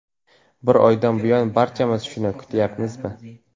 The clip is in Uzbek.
Bir oydan buyon barchamiz shuni kutmayapmizmi?